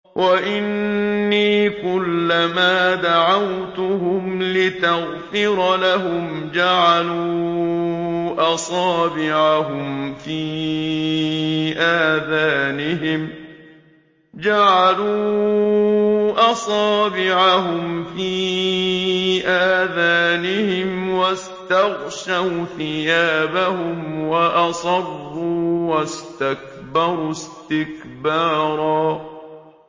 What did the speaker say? وَإِنِّي كُلَّمَا دَعَوْتُهُمْ لِتَغْفِرَ لَهُمْ جَعَلُوا أَصَابِعَهُمْ فِي آذَانِهِمْ وَاسْتَغْشَوْا ثِيَابَهُمْ وَأَصَرُّوا وَاسْتَكْبَرُوا اسْتِكْبَارًا